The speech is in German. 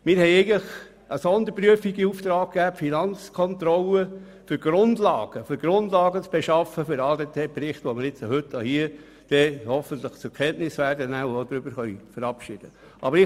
Wir haben eine Sonderprüfung an die Finanzkontrolle in Auftrag gegeben, um Grundlagen für die Prüfung des ADTBerichts zu schaffen, den wir heute hoffentlich zur Kenntnis nehmen und verabschieden werden.